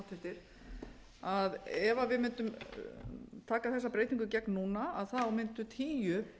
líka háttvirtir ef við mundum taka þessa breytingu í gegn núna mundu tíu